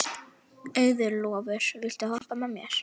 Auðólfur, viltu hoppa með mér?